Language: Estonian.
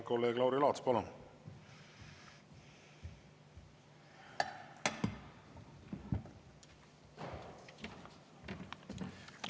Kolleeg Lauri Laats, palun!